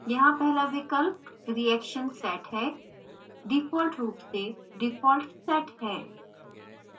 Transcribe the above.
यहाँ पहला विकल्प reaction set है default रूप से default set है